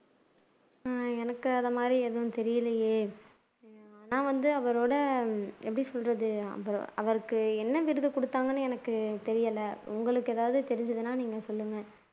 ஹம் எனக்கு அந்த மாதிரி எதுவும் தெரியலையே நான் வந்து அவரோட எப்படி சொல்றது அவருக்கு என்ன விருது குடுத்தாங்கன்னு எனக்கு தெரியல உங்களுக்கு ஏதாவது தெரிஞ்சதுன்னா சொலுங்க